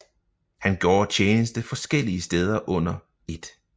Han gjorde tjeneste forskellige steder under 1